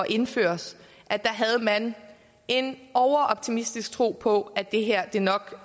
indføres da havde man en overoptimistisk tro på at det her nok